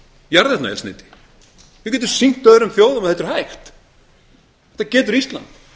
jarðefnaeldsneyti við getum sýnt öðrum þjóðum að þetta er hægt þetta getur ísland